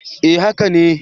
Eh haka ne.